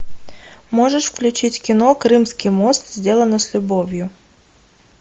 можешь включить кино крымский мост сделано с любовью